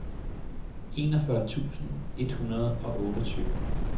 enogfyrre tusind et hundrede og otteogtyve